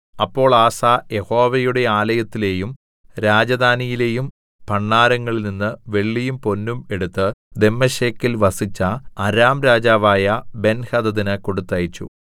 അപ്പോൾ ആസ യഹോവയുടെ ആലയത്തിലെയും രാജധാനിയിലെയും ഭണ്ഡാരങ്ങളിൽനിന്ന് വെള്ളിയും പൊന്നും എടുത്ത് ദമ്മേശെക്കിൽ വസിച്ച അരാം രാജാവായ ബെൻഹദദിന് കൊടുത്തയച്ചു